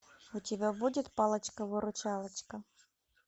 у тебя будет палочка выручалочка